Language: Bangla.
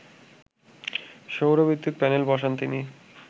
সৌর বিদ্যুৎ প্যানেল বসান তিনি